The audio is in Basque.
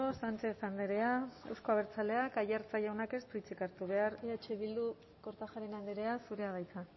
sánchez andrea euzko abertzaleak aiartza jaunak ez du hitzik hartu behar eh bildu kortajarena andrea zurea da hitza